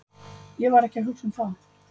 Ég var ekki að hugsa um það.